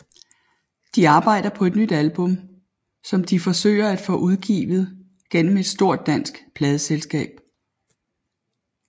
De arbejder på et nyt album som de forsøger at få udgivet gennem et stort dansk pladeselskab